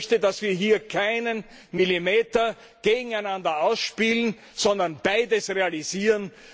Und ich möchte, dass wir hier keinen Millimeter gegeneinander ausspielen, sondern beides realisieren.